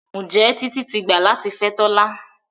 Njé Titi tí gbà latí fè Tola?